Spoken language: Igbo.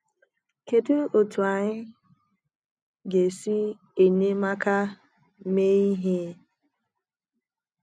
kedụ otú anyị ga esi enyemaka mee ihe?